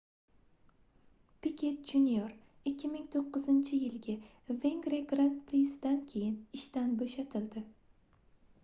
piket jr 2009-yilgi vengriya gran-prisidan keyin ishdan boʻshatildi